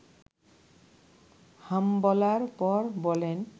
হাম বলার পর বলেন